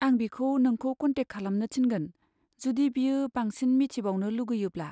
आं बिखौ नोंखौ कन्टेक खालामनो थिनगोन जुदि बियो बांसिन मिथिबावनो लुगैयोब्ला।